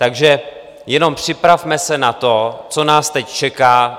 Takže jenom připravme se na to, co nás teď čeká.